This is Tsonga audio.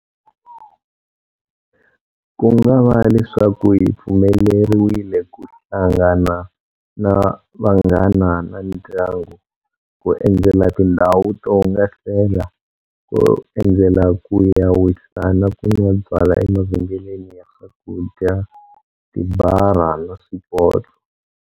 Kungava leswaku hi pfumeleriwile ku hlangana na vanghana na ndyangu, ku endzela tindhawu to hungasela, ku endzela ku ya wisa na ku nwa byalwa emavhengeleni ya swakudya, tibara na swipotso.